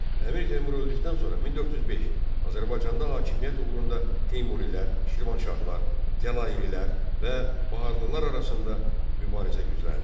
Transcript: Əmir Teymur öldükdən sonra 1405-ci ildə Azərbaycanda hakimiyyət uğrunda Teymurilər, Şirvanşahlar, Cəlalilər və Baharlılar arasında mübarizə gücləndi.